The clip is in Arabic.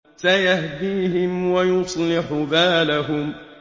سَيَهْدِيهِمْ وَيُصْلِحُ بَالَهُمْ